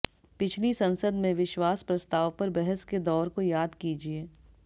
पिछली संसद में विश्वास प्रस्ताव पर बहस के दौर को याद कीजिये